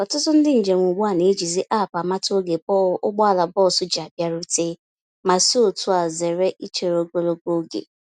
Ọtụtụ ndị njem ugbu a na-eji zi App amata ógè ụgbọala bọs ji abịarute, ma si otúa zere ichere ogologo oge.